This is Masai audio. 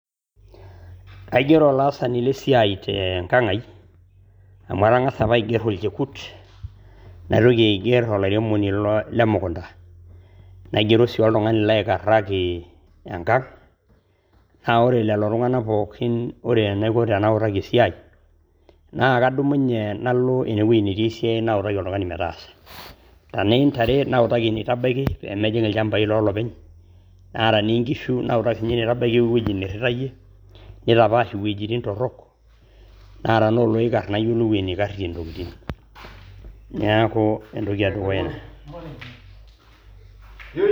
Aigerro ilaasani le siaai te enka'ngai amu atangasa apa aigerr olchekut, naitoki aiger olaremoni le mukunta, naigerrosi oltungani laikaraki enkang' naa ore lelo tunganak pookin, ore enaiko tenaoroki esiaai naa kadumunye nalo ine weji netii esiaai nautaki oltungani metaasa ,tanaa intare nautaki eneitabaki pemejing' ilchambai loo lopeny ata enee inkishu nautaki si ninye eweji neitabaki o eweji neiritaiye ,neitapaash wejitin torok ,naa tanaa oloikarr nayolou eneikarie ntokitin, neaku entoki edukuya ina.